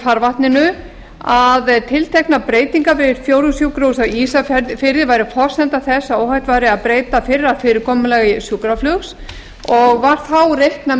farvatninu að tilteknar breytingar við fjórðungssjúkrahúsið væru forsenda þess að óhætt væri að breyta fyrra fyrirkomulagi sjúkraflugs og var þá reiknað